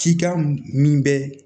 Cikan min bɛ